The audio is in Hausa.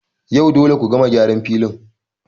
Yau dole ku gama gyaran filin